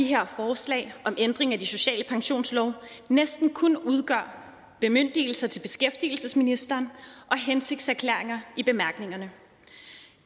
her forslag om ændring af de sociale pensionslove næsten kun udgør bemyndigelser til beskæftigelsesministeren og hensigtserklæringer i bemærkningerne